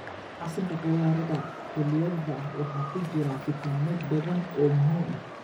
Casiirka khudradda xilliyeedka waxaa ku jira fiitamiino badan oo muhiim ah.